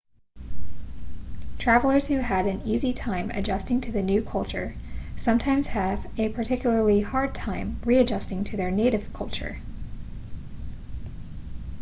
travellers who had an easy time adjusting to the new culture sometimes have a particularly hard time readjusting to their native culture